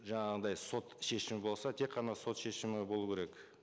жаңағындай сот шешімі болса тек қана сот шешімі болу керек